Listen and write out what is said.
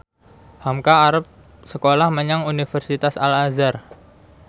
hamka arep sekolah menyang Universitas Al Azhar